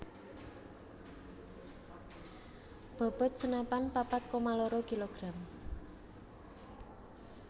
Bobot senapan papat koma loro kilogram